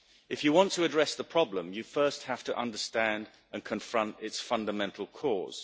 If you want to address the problem, you first have to understand and confront its fundamental cause.